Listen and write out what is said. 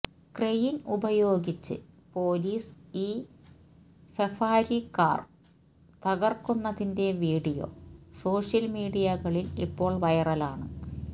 crane ഉപയോഗിച്ച് police ഈ Ferrari car തകര്ക്കുന്നതിന്റെ വീഡിയോ സോഷ്യല് മീഡിയകളില് ഇപ്പോള് വൈറലാണ്